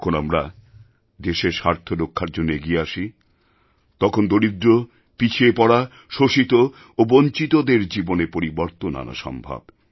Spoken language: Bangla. যখন আমরা দেশের স্বার্থ রক্ষার জন্য এগিয়ে আসি তখন দরিদ্র পিছিয়ে পড়া শোষিত ও বঞ্চিতদের জীবনে পরিবর্তন আনা সম্ভব